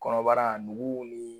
Kɔnɔbara nugu ni